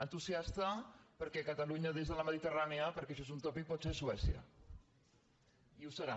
entusiasta perquè catalunya des de la mediterrània perquè això és un tòpic pot ser suècia i ho serà